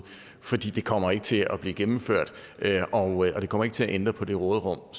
for det kommer ikke til at blive gennemført og det kommer ikke til at ændre på det råderum